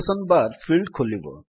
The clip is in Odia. ଏହା ଏକ ଲୋକେଶନ୍ ବାର୍ ଫିଲ୍ଡ ଖୋଲିବ